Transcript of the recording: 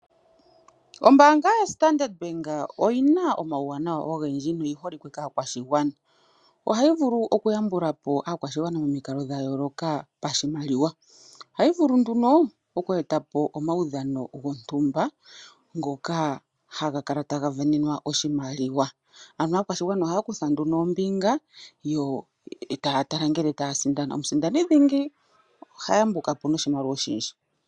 Ombaanga ya Standard Bank oyina omauwanawa owundji noyi holikwe kaakwashigwana. Ohayi vulu okuyambula po aakwashigwana momikalo dha yooloka pashimaliwa. Ohayi vulu nduno okweetapo omadhano gontumba ngoka haga kala taga sindanenwa oshimaliwa. Aakwashigwana ohaya kutha nduno ombinga yo taya tala ngele taya sindana. Omusindani dhingi oha yambuka po noshimaliwa oshindji.